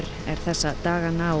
þessa dagana á